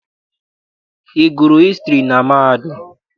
Ị gụrụ hịstrị na mahadum?